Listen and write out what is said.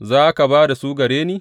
Za ka ba da su gare ni?